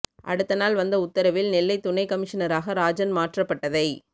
அடுத்த நாள் வந்த உத்தரவில் நெல்லை துணை கமிஷனராக ராஜன் மாற்றப்பட்டதை